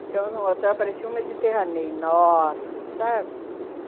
Ficamos num hotel, parecia um Mediterrâneo enorme, sabe?